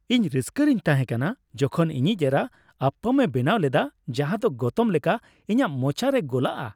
ᱤᱧ ᱨᱟᱹᱥᱠᱟᱹᱨᱤᱧ ᱛᱟᱦᱮᱸ ᱠᱟᱱᱟ ᱡᱚᱠᱷᱚᱱ ᱤᱧᱤᱡ ᱮᱨᱟ ᱟᱯᱯᱟᱢ ᱮ ᱵᱮᱱᱟᱣ ᱞᱮᱫᱟ ᱡᱟᱦᱟᱸᱫᱚ ᱜᱚᱛᱚᱢ ᱞᱮᱠᱟ ᱤᱧᱟᱹᱜ ᱢᱚᱪᱟ ᱨᱮ ᱜᱚᱞᱟᱜᱼᱟ ᱾